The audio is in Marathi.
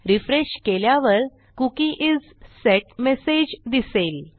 रिफ्रेश केल्यावर कुकी इस सेट मेसेज दिसेल